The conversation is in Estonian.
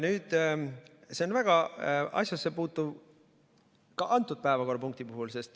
See on väga asjasse puutuv ka antud päevakorrapunkti puhul.